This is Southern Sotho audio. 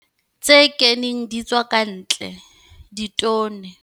Tse keneng di tswa ka ntle ditone.